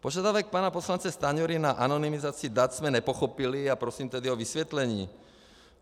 Požadavek pana poslance Stanjury na anonymizaci dat jsem nepochopili, a prosím tedy o vysvětlení.